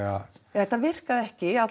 þetta virkaði ekki